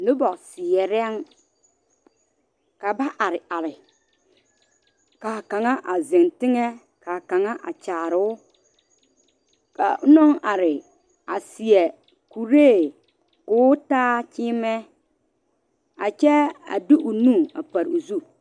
Noba veɛrɛŋ ka ba are are kaa kaŋa a zeŋ teŋa ka kaŋak a kyaaroo kaa onaŋ are a seɛ kuree ko o taa kyeemɛ ka kyɛ a de o nu a pare o zu